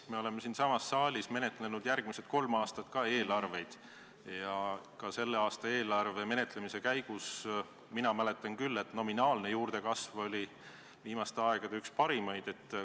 Me oleme siinsamas saalis menetlenud ka järgmised kolm aastat eelarveid ja sellegi aasta eelarve menetlemise käigus, mina mäletan küll, oli nominaalne juurdekasv viimaste aegade üks parimaid.